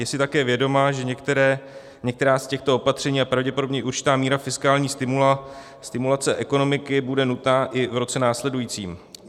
Je si také vědoma, že některá z těchto opatření a pravděpodobně i určitá míra fiskální stimulace ekonomiky budou nutná i v roce následujícím.